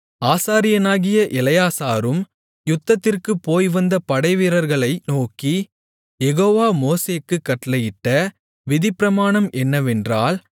ஆசாரியனாகிய எலெயாசாரும் யுத்தத்திற்குப் போய்வந்த படைவீரர்களை நோக்கி யெகோவா மோசேக்குக் கட்டளையிட்ட விதிப்பிரமாணம் என்னவென்றால்